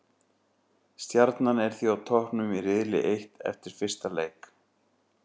Stjarnan er því á toppnum í riðli eitt eftir fyrsta leik.